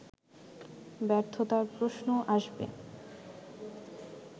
ব্যর্থতার প্রশ্ন আসবে